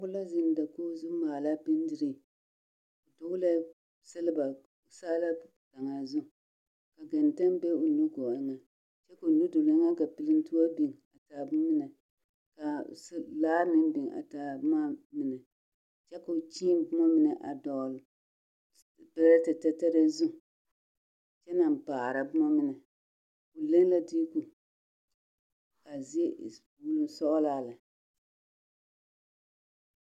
Pɔgɔ la zeŋ dakɔgɔ zu maala benderee . O dɔglee selba saalaa kaŋa zu. Ka gɛntɛ be o nu gɔɔ eŋe. Kyɛ koo nudolo eŋɛ ka pelentoɔ biŋ a taa bomene kaa laa meŋ biŋ a taa boma mine kyɛ koo kyēē boma mine a dɔɔl perɛtɛtɛtɛrɛɛ zu, kyɛ naŋ paara boma mine. O leŋ la deeko kaa zie e sɔglaa lɛ aa meŋ biŋ kɔga biŋ ma ka.